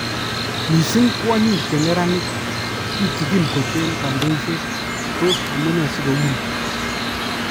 Missing kwonyik che neranik ,tutikin kot en kandoiset ,tos amunee sikou nii?